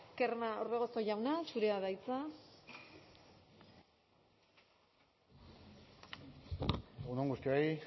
orbegozo jauna zurea da hitza egun on guztioi